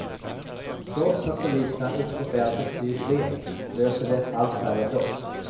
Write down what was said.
Trots att poliserna ute på fältet blivit fler, löser de allt färre brott.